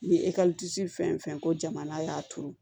Ni ekɔliso fɛn o fɛn ko jamana y'a turu